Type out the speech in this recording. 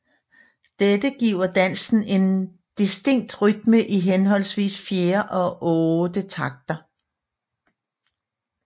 Dette giver dansen en distinkt rytme i henholdsvis 4 og otte takter